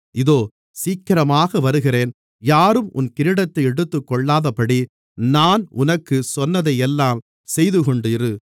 இதோ சீக்கிரமாக வருகிறேன் யாரும் உன் கிரீடத்தை எடுத்துக்கொள்ளாதபடி நான் உனக்குச் சொன்னதையெல்லாம் செய்துகொண்டு இரு